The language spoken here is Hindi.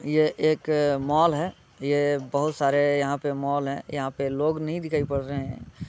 यह एक मॉल है। ये बोहोत सारे यहाँ पे मॉल हैं। यहाँ पे लोग नही दिखाई पड़ रहे हैं।